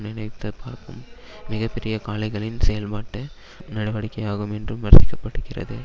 நினைத்தபார்க்கும் மிக பெரிய காளைகளின் செயல்பாட்டு நடவடிக்கையாகும் என்றும் வர்ணிக்க படுகிறது